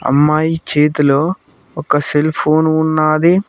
అమ్మాయి చేతిలో ఒక సెల్ ఫోను ఉన్నాది.